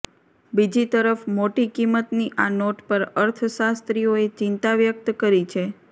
બીજી તરફ મોટી કિંમતની આ નોટ પર અર્થશાસ્ત્રીઓએ ચિંતા વ્યક્ત કરી છે